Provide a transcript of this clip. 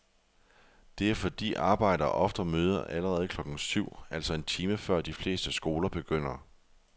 Det er fordi arbejdere ofte møder allerede klokken syv, altså en time før de fleste skoler begynder.